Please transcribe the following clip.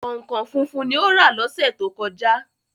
Kọ̀nkọ̀n funfun ni ó rà lọ́sẹ̀ to kọjá.